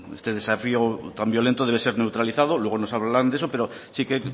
este desafío tan violento debe ser neutralizado luego nos hablarán de eso pero sí que